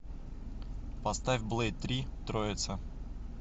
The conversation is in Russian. поставь блэйд три троица